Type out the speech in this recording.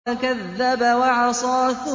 فَكَذَّبَ وَعَصَىٰ